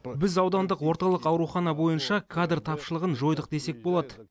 біз аудандық орталық аурухана бойынша кадр тапшылығын жойдық десек болады